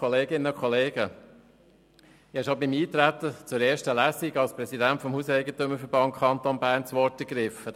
Ich habe hier schon beim Eintreten auf die erste Lesung das Wort als Präsident des Hauseigentümerverbands des Kantons Bern (HEV) ergriffen.